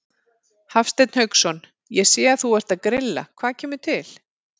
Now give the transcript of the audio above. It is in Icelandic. Hafsteinn Hauksson: Ég sé að þú ert að grilla, hvað kemur til?